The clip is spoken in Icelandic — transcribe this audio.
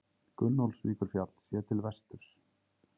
Gunnólfsvíkurfjall, séð til vesturs.